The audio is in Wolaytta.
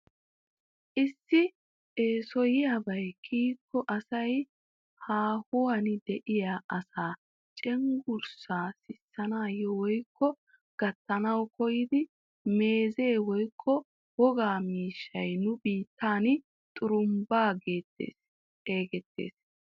Issi essoyiyabay kyikko asay haawuwaan de'iyaa asaa cenggurssaa sissanawu woykko gattanwu koyidi meezze woykko wogaa miishshay nu biittan xurumbbaa getetti xeegettees.